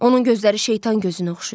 Onun gözləri şeytan gözünə oxşayır.